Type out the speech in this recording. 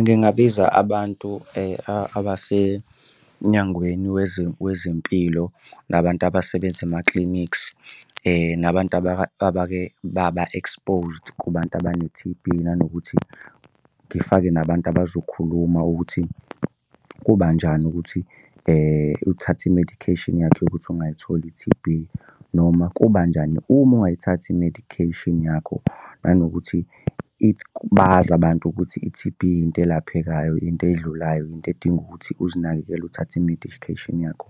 Ngingabiza abantu abase emnyangweni wezempilo nabantu abasebenza ema-clinics, nabantu abake baba exposed kubantu abane-T_B, nanokuthi ngifake nabantu abazokhuluma ukuthi kubanjani ukuthi uthathe i-medication yakho yokuthi ungayitholi i-T_B noma kubanjani uma ungayithathi i-medication yakho. Nanokuthi bazi abantu ukuthi i-T_B into elaphekayo, into edlulayo, into edinga ukuthi uzinakekele uthathe i-medication yakho